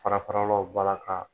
Kara kɔrɔ law balaka.